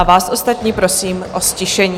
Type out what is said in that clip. A vás ostatní prosím o ztišení.